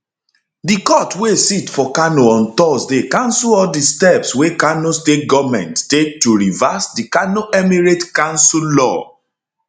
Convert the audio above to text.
di court wey sit for kano on thursday cancel all di steps wey kano state goment take to reverse di kano emirates council law